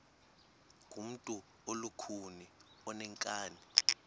ngumntu olukhuni oneenkani